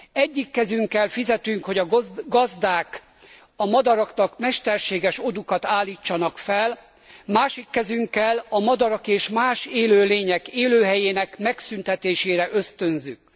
Egyik kezünkkel fizetünk, hogy a gazdák a madaraknak mesterséges odúkat állítsanak fel, másik kezünkkel a madarak és más élőlények élőhelyének megszüntetésére ösztönzünk.